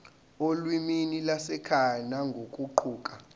olimini lwasekhaya nangokuguquka